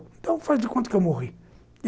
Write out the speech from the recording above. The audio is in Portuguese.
Então faz de conta que eu morri.